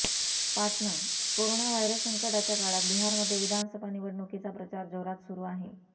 Patna corona virus संकटाच्या काळात बिहारमध्ये विधानसभा निवडणुकीचा प्रचार जोरात सुरू आहे